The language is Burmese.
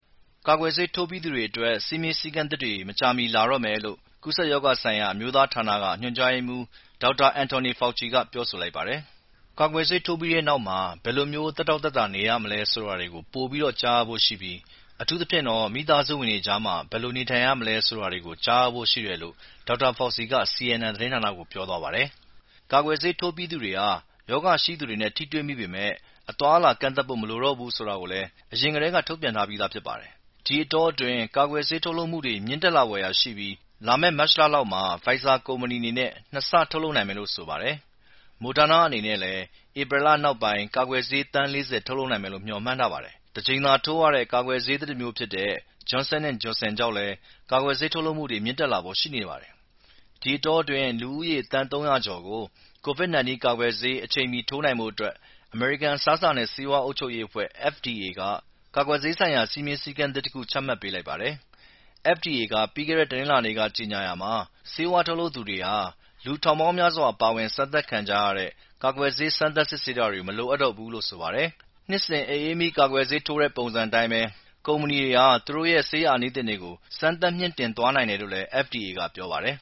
ကာကွယ်ဆေးထိုးပြီးသူတွေအတွက် စည်းမျဉ်းစည်းကမ်းသစ်တွေ မကြာမီ လာတော့မယ်လို့ကူးစက်ရောဂါဆိုင်ရာ အမျိူးသားဌာနက ညွှန်ကြားရေးမှူး ဒေါက်တာ Dr. Anthony Fauci က ပြောဆိုလိုက်ပါတယ်။ "ကာကွယ်ဆေးထိုးပြီးနောက် ဘယ်လိုမျိူး သက်တောင့်သက်သာနေရမလဲဆိုတာတွေ ပိုပြီး ကြားရဖို့ရှိတယ်လို့ကျနော် ယုံကြည်ပါတယ်။ အထူးသဖြင့် မိသားစုဝင်တွေကြားမှာပါ" ဆိုပြီး ဒေါက်တာ Fauci က CNN သတင်းဌာနကို ပြောသွားတာပါ။ ကာကွယ်ဆေးထိုးပြီးသူတွေဟာ ရောဂါရှိသူနဲ့ထိတွေ့မိပေမယ့် အသွားအလာကန့်သတ်ဖို့မလိုတော့ဘူးဆိုတာတွေကိုလည်း အရင်ကတည်းက ထုတ်ပြန်ထားပြီးဖြစ်ပါတယ်။ ဒီအတောအတွင်း ကာကွယ်ဆေးထုတ်လုပ်မှုတွေ မြင့်တက်လာဖွယ်ရာရှိပြီး လာမယ့် မတ်လလယ်လောက်မှာ Pfizer ကုမ္ပဏီအနေနဲ့နှစ်ဆထုတ်လုပ်နိုင်မယ်လို့ဆိုပါတယ်။ Moderna အနေနဲ့လည်း ဧပြီလနောက်ပိုင်း ကာကွယ်ဆေး သန်း ၄၀ ထုတ်လုပ်နိုင်မယ်လို့ မျှော်မှန်းထားပါတယ်။ တကြိမ်သာထိုးရတဲ့ ကာကွယ်ဆေးသစ်တမျိုးဖြစ်တဲ့ Johnson & Johnson ကြောင့်လည်း ကာကွယ်ဆေးထုတ်လုပ်မှတွေ မြင့်တက်လာဖို့ရှိနေပါတယ်။ ဒီအတောအတွင်း လူဦးရေ သန်း ၃၀၀ ကျော်ကို COVID-19 ကာကွယ်ဆေး အချိန်မီထိုးနိုင်ဖို့အတွက် အမေရိကန် အစားအစာနဲ့ဆေးဝါးအုပ်ချုပ်ရေးအဖွဲ့FDA ကာကွယ်ဆေးဆိုင်ရာ စည်းမျဉ်းစည်းကမ်းသစ်တခုချမှတ်ပေးလိုက်ပါတယ်။ FDA က ပြီးခဲ့တဲ့ တနင်္လာနေ့က ကြေညာရာမှာ ဆေးဝါးထုတ်လုပ်သူတွေဟာ လူထောင်ပေါင်းများစွာပါဝင်အစမ်းသပ်ခံကြရတဲ့ ကာကွယ်ဆေး စမ်းသပ်စစ်ဆေးတာတွေ မလိုအပ်တော့ဘူးလို့ဆိုပါတယ်။ နှစ်စဉ် အအေးမိကာကွယ်ဆေးထိုးတဲ့ ပုံစံအတိုင်းပဲ ကုမ္မဏီတွေဟာ သူတို့ရဲ့ ဆေးအာနိသင်တွေကို စမ်းသပ်မြှင့်တင်သွားနိုင်တယ်လို့လည်း FDA က ပြောပါတယ်။